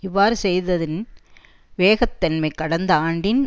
இவ்வாறு செய்ததின் வேகத்தன்மை கடந்த ஆண்டின்